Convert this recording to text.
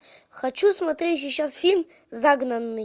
хочу смотреть сейчас фильм загнанный